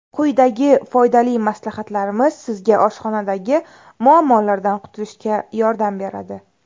Quyidagi foydali maslahatlarimiz sizga oshxonadagi muammolardan qutulishga yordam beradi.